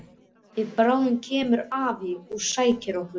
Og bráðum kemur afi og sækir okkur.